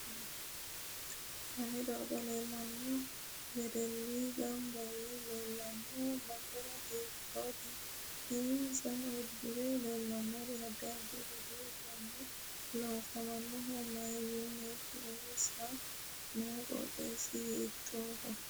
Konne darga leelanno wedelli ganba yee leelanno base hiitoote insa uddire leelanno addi addi budu uduuni loosaminohu mayiiniiti insa noo qooxeesi hiitooho